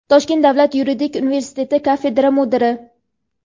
Toshkent davlat yuridik universiteti kafedra mudiri;.